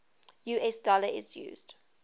us dollar is used